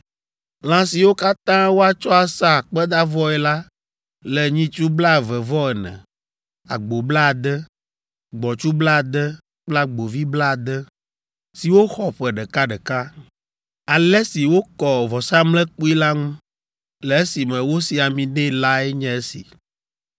Lã siwo katã woatsɔ asa akpedavɔe la le nyitsu blaeve-vɔ-ene, agbo blaade, gbɔ̃tsu blaade kple agbovi blaade, siwo xɔ ƒe ɖekaɖeka. Ale si wokɔ vɔsamlekpui la ŋu, le esime wosi ami nɛ lae nye esi.